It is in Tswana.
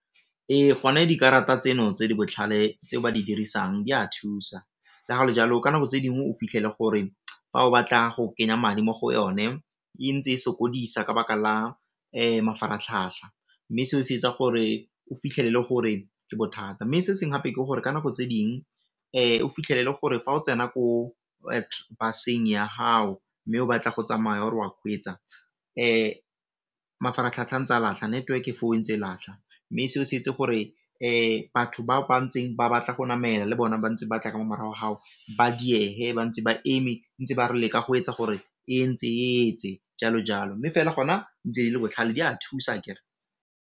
Ee, go ne dikarata tseno tse di botlhale tse ba di dirisang di a thusa, le ga go le jalo ka nako tse dingwe o fitlhele gore fa o batla go kenya madi mo go yone e ntse e sokodisa ka baka la mafaratlhatlha mme se o se etsa gore o fitlhelele gore ke bothata mme se seng gape ke gore ka nako tse ding o fitlhelele gore fa o tsena ko baseng ya gao mme o batla go tsamaya o re wa kgweetsa mafaratlhatlha a ntse a latlha, network foo e ntse e latlha mme seo se etse gore batho ba ba ntseng ba batla go namela le bona ba ntse ba tla mo morago ga gago ba diege ba ntse ba eme ntse ba re leka go etsa gore e jalo jalo mme fela gona ntse di le botlhale di a thusa akere.